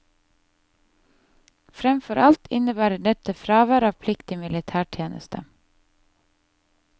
Framfor alt innebar dette fravær av pliktig militærtjeneste.